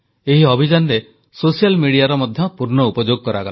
ଏହି ଅଭିଯାନରେ ସୋସିଆଲ ମିଡିଆର ମଧ୍ୟ ପୂର୍ଣ୍ଣ ଉପଯୋଗ କରାଗଲା